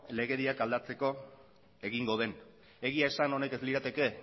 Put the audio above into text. legediak aldatzeko egingo den egia esan honek ez lirateke